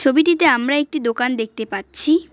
ছবিটিতে আমরা একটি দোকান দেখতে পারছি।